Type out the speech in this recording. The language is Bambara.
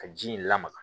Ka ji in lamaga